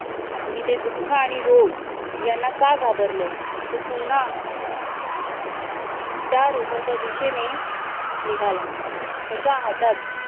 मी ते दुःख आणि रोग यांना का घाबरलो तो पुन्हा त्या रोगाच्या दिशेने निघाला त्याच्या हातात